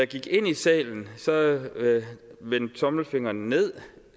gik ind i salen vendte tommelfingeren nedad